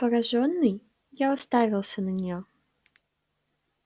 поражённый я уставился на неё